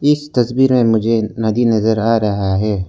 इस तस्वीर में मुझे नदी नजर आ रहा है।